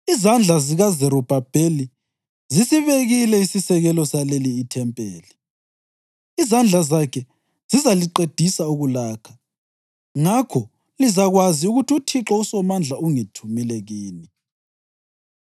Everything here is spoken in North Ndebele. “Izandla zikaZerubhabheli zisibekile isisekelo saleli ithempeli; izandla zakhe zizaliqedisa ukulakha. Ngakho lizakwazi ukuthi uThixo uSomandla ungithumile kini.